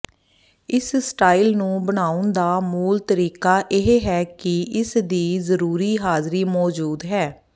ਇਸ ਸਟਾਈਲ ਨੂੰ ਬਣਾਉਣ ਦਾ ਮੂਲ ਤਰੀਕਾ ਇਹ ਹੈ ਕਿ ਇਸਦੀ ਜਰੂਰੀ ਹਾਜ਼ਰੀ ਮੌਜੂਦ ਹੈ